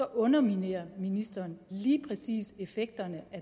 underminerer ministeren lige præcis effekterne